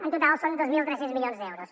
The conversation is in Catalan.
en total són dos mil tres cents milions d’euros